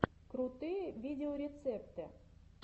крутые видеорецепты